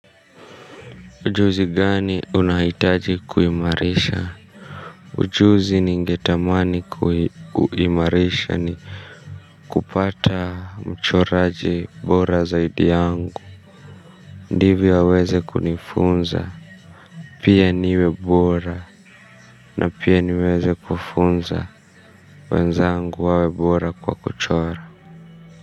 Ujuzi gani unahitaji kuimarisha? Ujuzi ningetamani kuimarisha ni kupata mchoraji bora zaidi yangu ndivyo waweze kunifunza pia niwe bora na pia niweze kufunza wenzangu wawe bora kwa kuchora.